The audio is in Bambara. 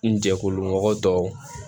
N jɛkulu mɔgɔ tɔw